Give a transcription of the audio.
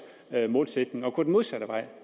målsætning er at gå den modsatte vej